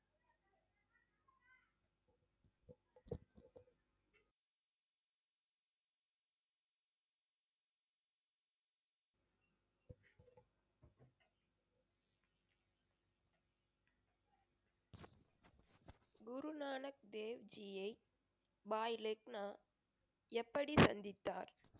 குருநானக் தேவ் ஜியை பாய் லெக்னா எப்படி சந்தித்தார்?